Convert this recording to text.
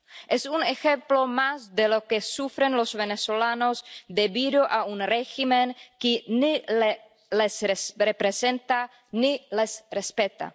Es un ejemplo más de lo que sufren los venezolanos debido a un régimen que ni les representa ni les respeta.